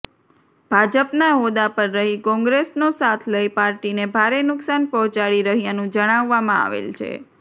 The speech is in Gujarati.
ભાજપના હોદ્દા પર રહી કોંગ્રેસનો સાથ લઇ પાર્ટીને ભારે નુકશાન પહોંચાડી રહ્યાનું જણાવવામાં આવેલ છે